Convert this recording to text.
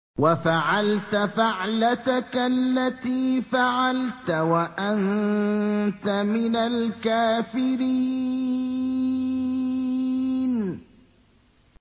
وَفَعَلْتَ فَعْلَتَكَ الَّتِي فَعَلْتَ وَأَنتَ مِنَ الْكَافِرِينَ